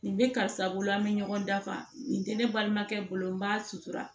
Nin bɛ karisa bolo an bɛ ɲɔgɔn dafa nin tɛ ne balimakɛ bolo n b'a sutura